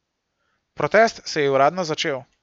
Protest se je uradno začel.